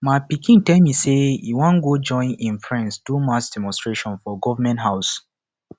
my pikin tell me say he wan go join im friends do mass demonstration for government house